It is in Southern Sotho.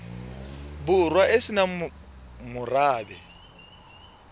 borwa e se nang morabe